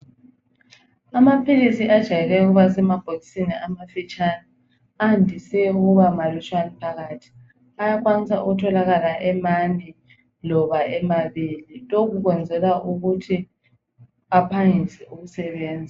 Amaphilisi ajayele ukuba semabhokisini amafitshane andise ukuba malutshwane phakathi. Ayakhwanisa ukutholakala emane loba emabili ,lokhu kwenzelwa ukuthi ephangise ukusebenza.